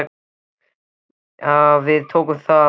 Og við tókum því að sjálfsögðu.